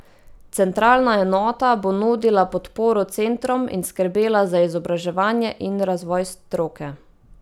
Centralna enota bo nudila podporo centrom in skrbela za izobraževanje in razvoj stroke.